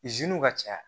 ka caya